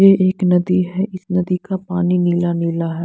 ये एक नदी है इस नदी का पानी नीला नीला है।